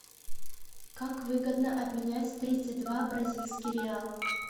как выгодно обменять тридцать два бразильский реал